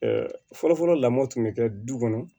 fɔlɔfɔlɔ lamɔn tun bɛ kɛ du kɔnɔ